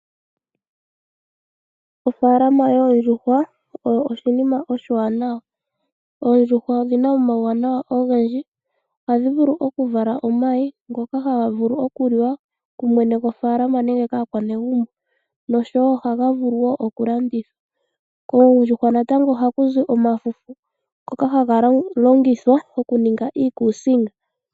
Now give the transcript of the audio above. Ofaalama yoondjuhwa oyo oshinima oshiwanawa. Oondjuhwa odhina omauwana ogendji, ohadhi vulu okuvala omayi ngoka haga vulu okuliwa kumwene gofaalama nenge kaa kwanegumbo nosho woo ohaga vulu woo okulandithwa. Oondjuhwa natango oha kuzi omafufu ngoka haga longithwa okuninga iikusinga.